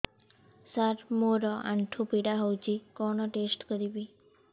ସାର ମୋର ଆଣ୍ଠୁ ପୀଡା ହଉଚି କଣ ଟେଷ୍ଟ କରିବି